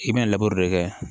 I bɛna de kɛ